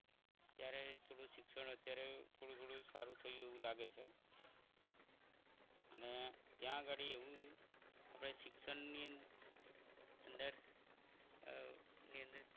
ત્યારે શિક્ષણ અત્યારે થોડું થોડું સારું થયું એવું લાગે છે અને ત્યાં આગળ એવું આપણે શિક્ષણની અંદર